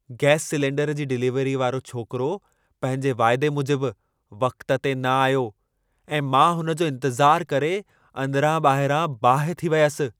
Gas cylinder जी डिलीवरीअ वारो छोकिरो पंहिंजे वाइदे मूजिबि वक़्त ते न आयो ऐं मां उन जो इंतिज़ारु करे अंदरां-ॿाहिरां बाहि थी वयसि।